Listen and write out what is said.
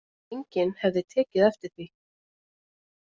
Enginn hefði tekið eftir því